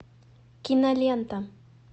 кинолента